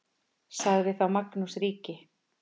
Sagði þá Magnús ríki: